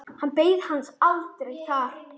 Hann beið hans aldrei þar.